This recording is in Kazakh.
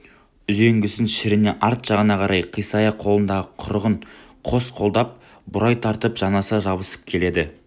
үзеңгісін шірене арт жағына қарай қисая қолындағы құрығын қос қолдап бұрай тартып жанаса жабысып келеді